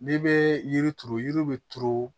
N'i bɛ yiri turu yiri bɛ turu